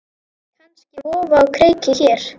Kannski vofa á kreiki hér.